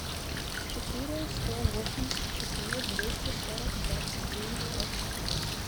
четыре сто восемьдесят четыре двести сорок двадцать девять пять четыре